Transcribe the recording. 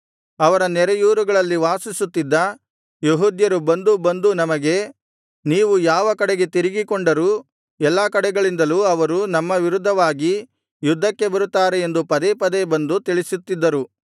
ಅವರ ನೆರೆಯೂರುಗಳಲ್ಲಿ ವಾಸಿಸುತ್ತಿದ್ದ ಯೆಹೂದ್ಯರು ಬಂದು ಬಂದು ನಮಗೆ ನೀವು ಯಾವ ಕಡೆಗೆ ತಿರುಗಿಕೊಂಡರೂ ಎಲ್ಲಾ ಕಡೆಗಳಿಂದಲೂ ಅವರು ನಮ್ಮ ವಿರುದ್ಧವಾಗಿ ಯುದ್ಧಕ್ಕೆ ಬರುತ್ತಾರೆ ಎಂದು ಪದೇ ಪದೇ ಬಂದು ತಿಳಿಸುತ್ತಿದ್ದರು